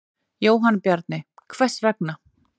Jóhann Bjarni: Hvers vegna?